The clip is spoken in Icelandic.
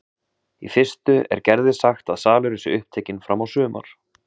Í fyrstu er Gerði sagt að salurinn sé upptekinn fram á sumar.